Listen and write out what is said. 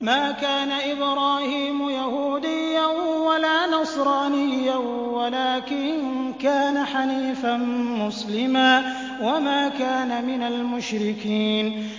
مَا كَانَ إِبْرَاهِيمُ يَهُودِيًّا وَلَا نَصْرَانِيًّا وَلَٰكِن كَانَ حَنِيفًا مُّسْلِمًا وَمَا كَانَ مِنَ الْمُشْرِكِينَ